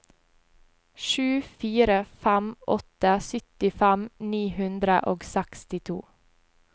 sju fire fem åtte syttifem ni hundre og sekstito